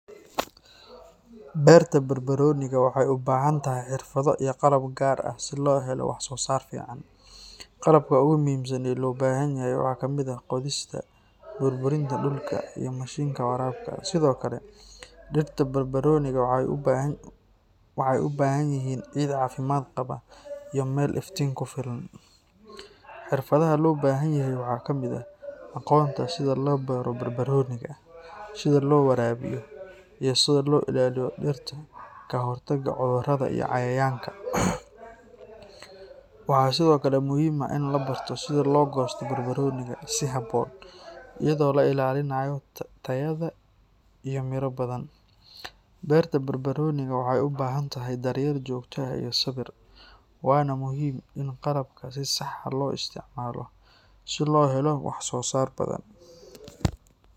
Beerta barbarooniga waxay u baahan tahay xirfado iyo qalab gaar ah si loo helo wax soo saar fiican. Qalabka ugu muhiimsan ee loo baahan yahay waxaa ka mid ah qodista, burburinta dhulka, iyo mashiinka waraabka. Sidoo kale, dhirta barbarooniga waxay u baahan yihiin ciid caafimaad qaba iyo meel iftiin ku filan. Xirfadaha loo baahan yahay waxaa ka mid ah aqoonta sida loo beero barbarooniga, sida loo waraabiyo, iyo sida loo ilaaliyo dhirta ka hortagga cudurada iyo cayayaanka. Waxaa sidoo kale muhiim ah in la barto sida loo goosto barbarooniga si habboon, iyadoo la ilaalinayo tayada iyo miro badan. Beerta barbarooniga waxay u baahan tahay daryeel joogto ah iyo sabir, waana muhiim in qalabka si sax ah loo isticmaalo si loo helo wax soo saar badan.